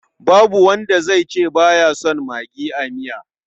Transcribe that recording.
Babu wanda zai ce ba ya son magi a miya.